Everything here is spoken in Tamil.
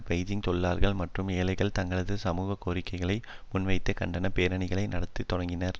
பெய்ஜிங் தொழிலாளர்களும் மற்றும் ஏழைகளும் தங்களது சமூக கோரிக்கைகளை முன்வைத்து கண்டன பேரணிகளை நடாத்தத் தொடங்கினர்